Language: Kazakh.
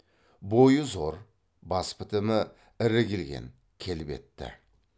бойы зор бас бітімі ірі келген келбетті